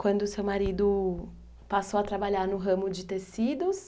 Quando seu marido passou a trabalhar no ramo de tecidos...